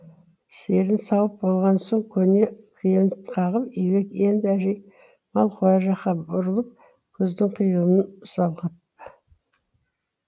сиырын сауып болған соң көне киімін қағып үйге енді әжей мал қора жаққа бұрылып көздің қиығын салғып